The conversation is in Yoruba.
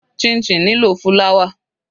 Chinchin nílò fúláwà.